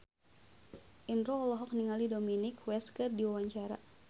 Indro olohok ningali Dominic West keur diwawancara